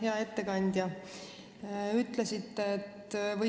Hea ettekandja!